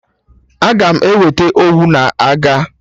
Aga m eweta Owu na aga